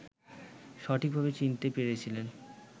সঠিকভাবে চিনতে পেরেছিলেন